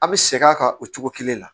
A bɛ sɛgɛn a kan o cogo kelen na